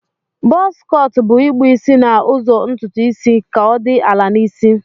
Buzz cọt bu ikpụ isi na ụzọ ntutu isi ka odi ala na isi.